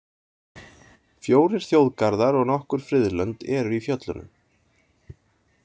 Fjórir þjóðgarðar og nokkur friðlönd eru í fjöllunum.